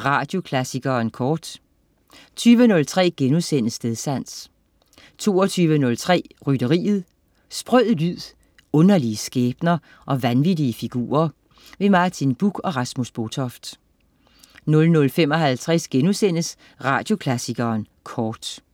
Radioklassikeren Kort 20.03 Stedsans* 22.03 Rytteriet. Sprød lyd, underlige skæbner og vanvittige figurer. Martin Buch og Rasmus Botoft 00.55 Radioklassikeren Kort*